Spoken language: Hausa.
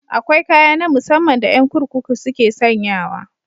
Akwai kaya na musamman da yan kurkuku suke sanyawa.